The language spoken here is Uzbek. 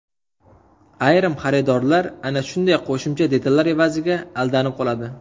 Ayrim xaridorlar ana shunday qo‘shimcha detallar evaziga aldanib qoladi.